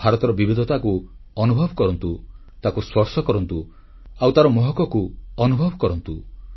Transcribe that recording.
ଭାରତର ବିବିଧତାକୁ ଅନୁଭବ କରନ୍ତୁ ତାକୁ ସ୍ପର୍ଶ କରନ୍ତୁ ଆଉ ତାର ମହକକୁ ଅନୁଭବ କରନ୍ତୁ